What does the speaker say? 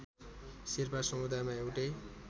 शेर्पा समुदायमा एउटै